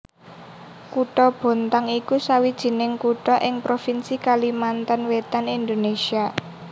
Kutha Bontang iku sawijining kutha ing provinsi Kalimantan Wétan Indonésia